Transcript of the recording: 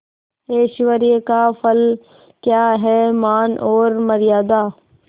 ऐश्वर्य का फल क्या हैमान और मर्यादा